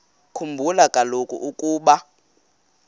khumbula kaloku ukuba